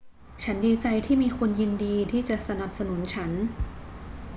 ฉันดีใจที่มีคนยินดีที่จะสนับสนุนฉัน